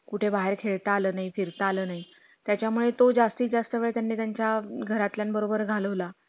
करून टाका काय अडचण नाही काय घाई नाही. त्याला सांगतो मी समजून तसं आज आपला call झाला ना त्याला समजून सांगतो मी